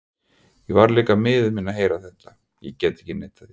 Ég varð líka miður mín að heyra þetta, ég get ekki neitað því.